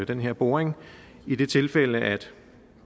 den her boring i det tilfælde at